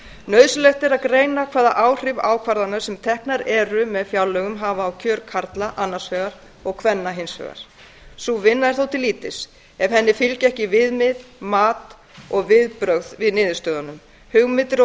nauðsynlegt er að greina hvaða áhrif ákvarðanir sem teknar eru með fjárlögum hafa á kjör karla annars vegar og kvenna hins vegar sú vinna er þó til lítils ef henni fylgja ekki viðmið mat og viðbrögð við niðurstöðunum hugmyndir og